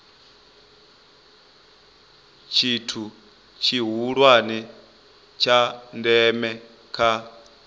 tshithu tshihulwane tsha ndeme kha